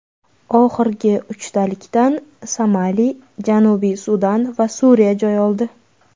Oxirgi uchtalikdan Somali, Janubiy Sudan va Suriya joy oldi.